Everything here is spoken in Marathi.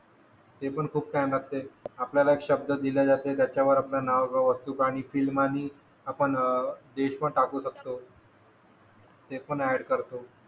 ते पण खूप छान असते आपल्याला एक शब्द दिला जाते त्याच्यावर आपला नाव गाव वस्तू प्राणी टाकू शकतो ते पण आहेत करतो